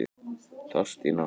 Þórstína, læstu útidyrunum.